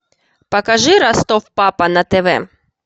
покажи ростов папа на тв